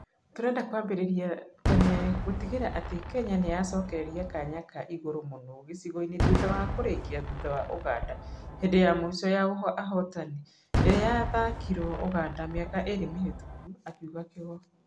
Tũrenda kũambĩriria tene gũtigĩrira atĩ Kenya nĩyacokereria kanya ka igũrũ mũno gĩcigoinĩ thutha wa kũrĩkia thutha wa Ùganda hĩndĩ ya mũico ya ahotani ĩrĩa ya thakĩiruo Ùganda mĩaka ĩĩri mĩhĩtuku.' akiuga Kĩgo.